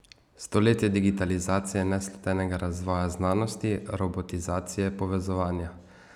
Stoletje digitalizacije, neslutenega razvoja znanosti, robotizacije, povezovanja?